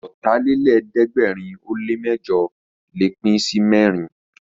Ọ̀tàlélẹ̀ẹ́dẹ́gbẹ̀rin ó lè mẹ́jọ̀ lè pín sí mẹ́rin